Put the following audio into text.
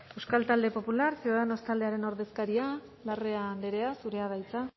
euskal talde popular ciudadanos taldearen ordezkaria larrea andrea zurea da hitza